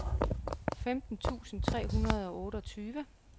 femten tusind tre hundrede og otteogtyve